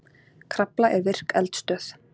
Krafla er virk eldstöð.